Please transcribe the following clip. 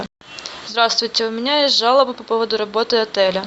здравствуйте у меня есть жалоба по поводу работы отеля